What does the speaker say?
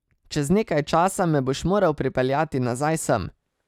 Čez nekaj časa me boš moral pripeljati nazaj sem.